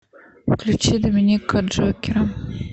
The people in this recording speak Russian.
включи доминика джокера